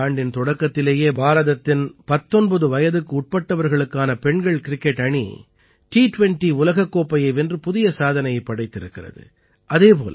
இந்த ஆண்டின் தொடக்கத்திலேயே பாரதத்தின் 19 வயதுக்குட்பட்டவர்களுக்கான பெண்கள் கிரிக்கெட் அணி டி 20 உலகக் கோப்பையை வென்று புதிய சாதனையைப் படைத்திருக்கிறது